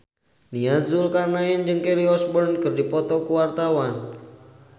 Nia Zulkarnaen jeung Kelly Osbourne keur dipoto ku wartawan